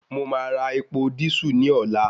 Mo máa ra epo dísù ní ọ̀la